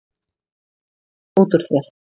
Fýlan út úr þér!